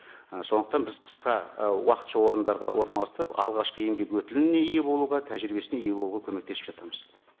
і сондықтан біз қысқа і уақытша орындарға орналастырып алғашқы еңбек өтіліне ие болуға тәжірибесіне ие болуға көмектесіп жатырмыз